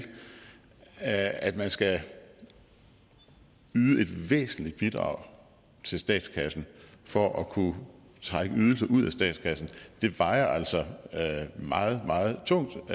at man skal yde et væsentligt bidrag til statskassen for at kunne trække ydelser ud af statskassen vejer altså meget meget tungt